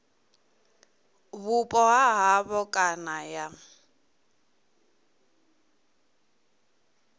vhupo ha havho kana ya